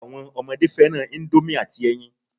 Àwọn ọmọdé fẹ́ràn ìndòmí àti ẹyin